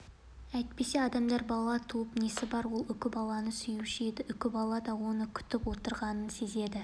әйтпесе адамдар бала туып несі бар ол үкібаланы сүюші еді үкібала да оны күтіп отырғанын сезеді